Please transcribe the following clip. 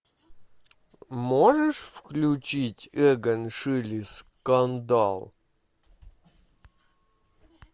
можешь включить эгон шиле скандал